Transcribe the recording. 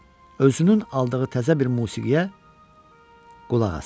özünün aldığı təzə bir musiqiyə qulaq assın.